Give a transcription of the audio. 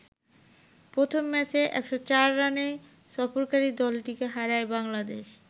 প্রথম ম্যাচে ১০৪ রানে সফরকারি দলটিকে হারায় বাংলাদেশ।